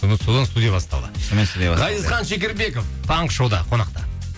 содан содан студия басталды ғазизхан шекербеков таңғы шоуда қонақта